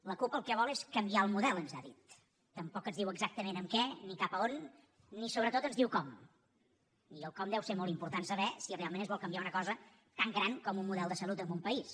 la cup el que vol és canviar el model ens ha dit tampoc ens diu exactament en què ni cap a on ni sobretot ens diu com i el com deu ser molt important saber si realment es vol canviar una cosa tan gran com un model de salut en un país